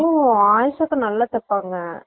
ஓ ஆயிஷா அக்கா நல்ல தெப்பாங்கா